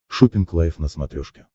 шоппинг лайв на смотрешке